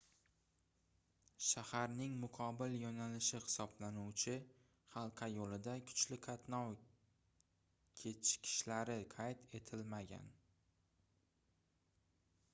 shaharning muqobil yoʻnalishi hisoblanuvchi halqa yoʻlida kuchli qatnov kechikishlari qayd etilmagan